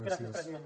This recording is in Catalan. gràcies president